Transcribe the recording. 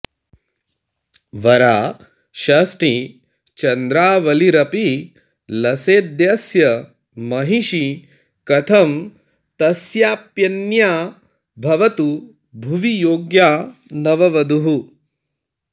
वरा षष्ठी चन्द्रावलिरपि लसेद्यस्य महिषी कथं तस्याप्यन्या भवतु भुवि योग्या नववधूः